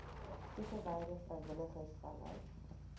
toegewyde vrywilligers vanuit